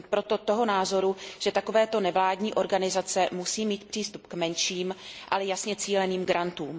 Jsem proto toho názoru, že takovéto nevládní organizace musí mít přístup k menším, ale jasně cíleným grantům.